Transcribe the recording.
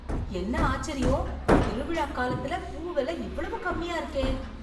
என்ன ஆச்சரியம் திருவிழா காலத்துல பூ விலை இவ்வளவு கம்மியா இருக்கே.